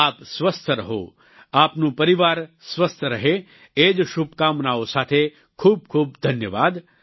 આપ સ્વસ્થ રહો આપનું પરિવાર સ્વસ્થ રહે એ જ શુભકામનાઓ સાથે ખૂબ ખૂબ ધન્યવાદ